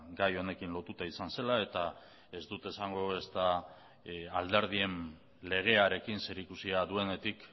gai honekin lotuta izan zela eta ez dut esango ezta alderdien legearekin zerikusia duenetik